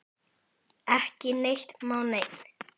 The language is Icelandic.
Ekki neitt má neinn!